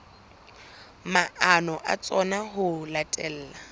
maano a tsona ho latela